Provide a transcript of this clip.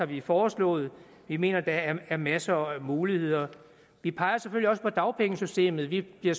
vi foreslået vi mener der er er masser af muligheder vi peger selvfølgelig også på dagpengesystemet vi bliver